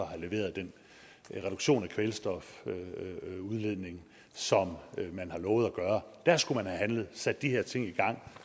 have leveret den reduktion af kvælstofudledningen som man har lovet at gøre der skulle man have handlet sat de her ting i gang